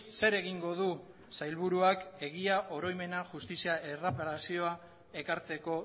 zer egingo du sailburuak egia oroimena justizia erreparazioa ekartzeko